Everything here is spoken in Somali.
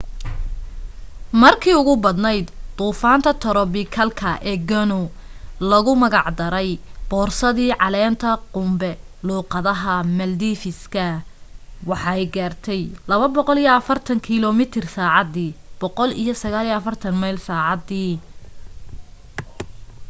markee ugu badneyd duufanta torobikalka ee gonu loogu magac daray boorsadii caleenta qunbe luuqadaha maldives-ka waxa ay gaarte 240 kiilomitir saacadii 149 meyl saacadii